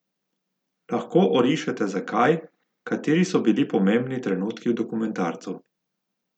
Lahko orišete zakaj, kateri so bili pomembni trenutki v dokumentarcu?